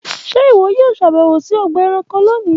Ṣe iwọ yoo ṣabẹwo si ọgba ẹranko loni.